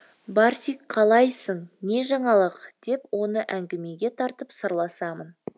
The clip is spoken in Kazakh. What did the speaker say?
барсик қалайсың не жаңалық деп оны әңгімеге тартып сырласамын